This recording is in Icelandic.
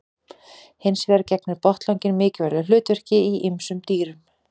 Hins vegar gegnir botnlanginn mikilvægu hlutverki í ýmsum dýrum.